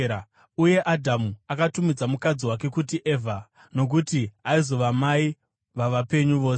Uye Adhamu akatumidza mukadzi wake kuti Evha, nokuti aizova mai vavapenyu vose.